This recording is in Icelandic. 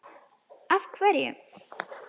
Af hverju.